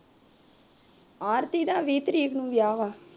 ਆਰਤੀ ਦਾ ਵੀਹ ਤਰੀਕ ਨੂੰ ਵਿਆਹ ਵਾ